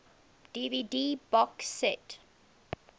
dvd box set